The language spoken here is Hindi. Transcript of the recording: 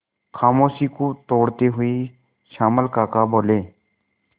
खामोशी को तोड़ते हुए श्यामल काका बोले